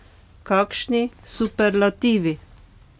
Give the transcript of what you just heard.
Kakšni superlativi!